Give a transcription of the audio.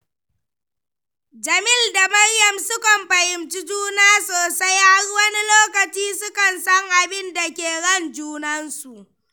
Jamil da Maryam sukan fahimci juna sosai, har wani lokaci sukan san abinda ke ran junansu